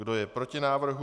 Kdo je proti návrhu?